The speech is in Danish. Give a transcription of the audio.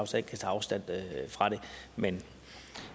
tage afstand fra men